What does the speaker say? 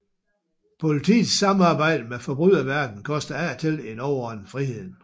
Politiets samarbejde med forbryderverdenen koster af og til en overordnet friheden